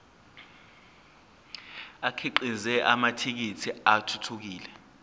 akhiqize amathekisthi athuthukile